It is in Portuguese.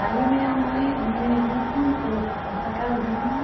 Aí minha mãe, minha irmã comprou essa casinha.